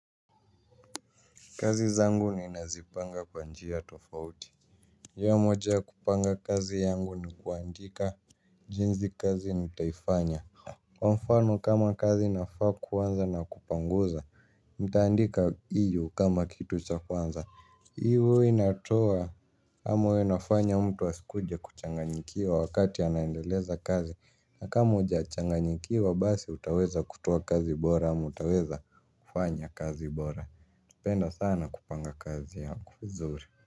Kazi zangu ninazipanga kwa njia tofauti njia moja ya kupanga kazi yangu ni kuandika jinsi kazi nitaifanya. Kwa mfano kama kazi inafaa kuanza na kupanguza, nitaandika hiyo kama kitu cha kwanza. Hiyo inatoa ama huwa inafanya mtu asikuje kuchanganyikiwa wakati anaendeleza kazi. Na kama ujachanganyikiwa basi utaweza kutoa kazi bora ama utaweza kufanya kazi bora napenda sana kupanga kazi yangu vizuri.